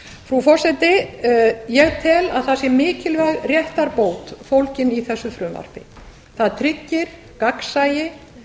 frú forseti ég tel að það sé mikilvæg réttarbót fólgin í þessu frumvarpi það tryggir gagnsæi